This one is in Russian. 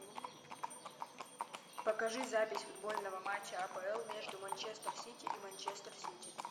покажи запись футбольного матча апл между манчестер сити и манчестер сити